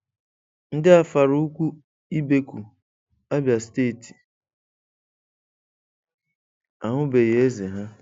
Ndị Afara Ukwu Ibeku, Abia Steeti ahụbeghị Eze ha.